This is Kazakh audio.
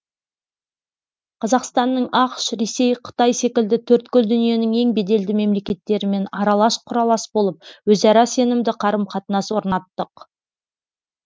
қазақстанның ақш ресей қытай секілді төрткүл дүниенің ең беделді мемлекеттерімен аралас құралас болып өзара сенімді қарым қатынас орнаттық